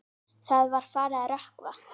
Það var farið að rökkva.